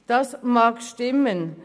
Das mag stimmen.